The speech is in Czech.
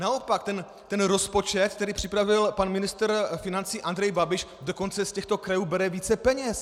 Naopak ten rozpočet, který připravil pan ministr financí Andrej Babiš, dokonce z těchto krajů bere více peněz.